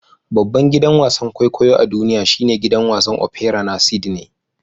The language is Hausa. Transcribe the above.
Babban gidan wasan kwaikwayo a duniya shine gidan wasan opera na Sydney.